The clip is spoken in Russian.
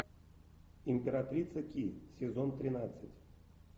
императрица ки сезон тринадцать